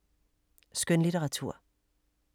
Skønlitteratur